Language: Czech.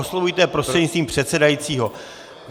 Oslovujte je prostřednictvím předsedajícího.